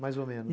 Mais ou menos.